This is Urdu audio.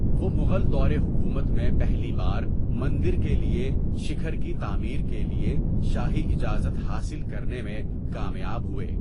وہ مغل دور حکومت میں پہلی بار مندر کے لیے شکھر کی تعمیر کے لیے شاہی اجازت حاصل کرنے میں کامیاب ہوئے۔